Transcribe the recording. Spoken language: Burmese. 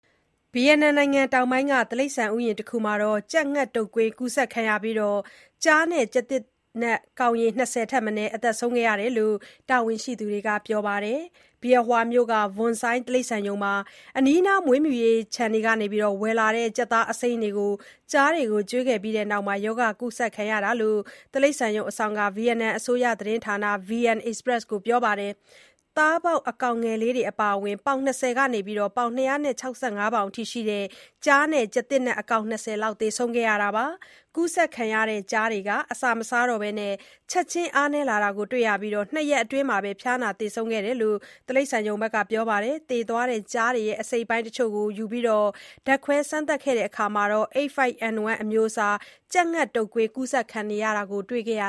ဗီယက်နမ်နိုင်ငံ တောင်ပိုင်းက တိရစ္ဆာန်ဥယျာဥ်တခုမှာ ကြက်ငှက်တုပ်ကွေး ကူးစက်ပြီး ကျားကောင်ရေ ၂၀ ထက်မနည်း သေဆုံးတယ် လို့ တာဝန်ရှိသူတွေက ပြောပါတယ်။ Bien Hoa မြို့က Vuon Xoai တိရစ္ဆာန်ရုံမှာ အနီးနား မွေးမြူရေး ခြံတွေကနေ ဝယ်လာတဲ့ ကြက်သားအစိမ်းတွေကို ကျားတွေကို ကျွေးခဲ့ပြီးတဲ့နောက် ရောဂါကူးစက်ခံခဲ့ရတာလို့ တိရစ္ဆာန်ရုံ အစောင့်က ဗီယက်နမ် အစိုးရသတင်းဌာန VN Express ကို ပြောပါတယ်။ သားပေါက် အကောင်ငယ်လေးတွေ အပါအဝင် ပေါင် ၂၀ ကနေ ၂၆၅ ပေါင်အထိ ရှိတဲ့ ကျားနဲ့ ကျားသစ်နက် အကောင် ၂၀ လောက် သေဆုံးခဲ့တာပါ။ ကူးစက်ခံရတဲ့ ကျားတွေဟာ အစာမစားတော့ဘဲ ချက်ချင်း အားနည်းလာတာကို တွေ့ခဲ့ရပြီး ၂ ရက်အတွင်းမှာပဲ ဖျားနာ သေဆုံးသွားခဲ့တာလို့ တိရစ္ဆာန်ရုံ မန်နေဂျာက ပြောပါတယ်။ သေသွားတဲ့ကျားတွေရဲ့ အစိတ်အပိုင်းတချို့ကို ယူပြီး ဓါတ်ခွဲစမ်းသပ်တာမှာ H5N1 အမျိုးအစား ကြက်ငှက်တုပ်ကွေး ကူးစက်နေတာကို တွေ့ခဲ့ရ